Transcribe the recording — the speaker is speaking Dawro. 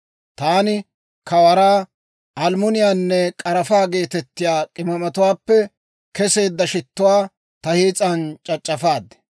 Taani Kawaraa, almmuniyaanne k'arafaa geetettiyaa k'imaamatuwaappe kesseedda shittuwaa ta hiis'an c'ac'c'afaad.